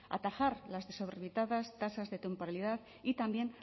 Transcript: atajar las desorbitadas tasas de temporalidad y también